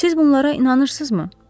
Siz bunlara inanırsınızmı?